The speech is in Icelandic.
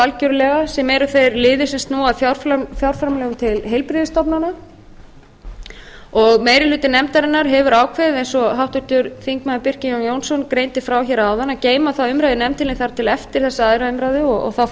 algjörlega sem eru þeir liðir sem snúa að fjárframlögum til heilbrigðisstofnana meiri hluti nefndarinnar hefur ákveðið eins og háttvirtur þingmaður birkir jón jónsson greindi frá hér áðan að geyma þá umræðu í nefndinni þar til eftir þessa annarrar umræðu og þá